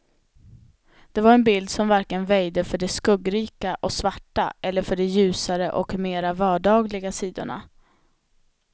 Det var en bild som varken väjde för det skuggrika och svarta eller för de ljusare och mera vardagliga sidorna.